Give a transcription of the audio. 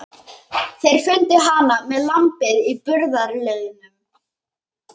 Þeir fundu hana með lambið í burðarliðnum.